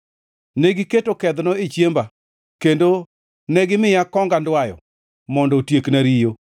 Negiketo kedhno e chiemba kendo negimiya kong andwayo mondo otiekna riyo.